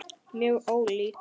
Mjög ólík.